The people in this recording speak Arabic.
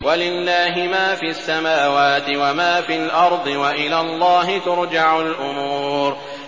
وَلِلَّهِ مَا فِي السَّمَاوَاتِ وَمَا فِي الْأَرْضِ ۚ وَإِلَى اللَّهِ تُرْجَعُ الْأُمُورُ